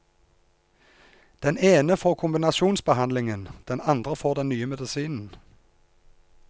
Den ene får kombinasjonsbehandlingen, den andre får den nye medisinen.